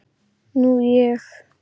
Nú ég.